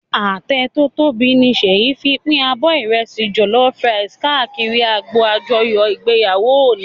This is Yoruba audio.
Atẹ tò tóbi ni Seyi fin pin ábò ìrẹsì jòlòfú kàákìrí ágbó ájòyò igbéyáwó óni